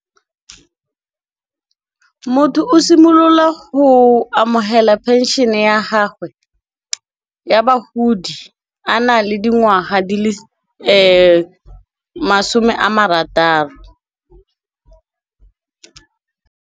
Motho o simolola go amogela pension-e ya gagwe ya bagodi, a na le dingwaga di le masome a marataro.